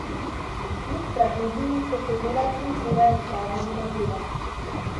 Kljub tragediji so se delavci včeraj odpravili na delo.